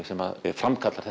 sem framkallar